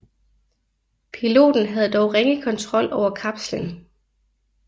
Piloten havde dog ringe kontrol over kapslen